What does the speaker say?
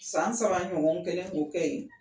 San saba ɲɔgɔn n kɛlen k'o kɛ ye.